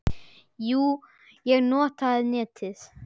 Jú, ég nota netið.